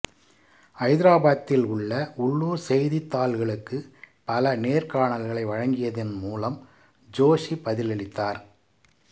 ஐதராபாத்தில் உள்ள உள்ளூர் செய்தித்தாள்களுக்கு பல நேர்காணல்களை வழங்கியதன் மூலம் ஜோஷி பதிலளித்தார்